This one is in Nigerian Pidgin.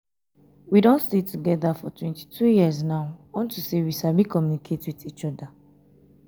we don stay together for twenty two years now unto say we sabi communicate with each other.